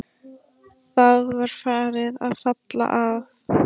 Það var farið að falla að.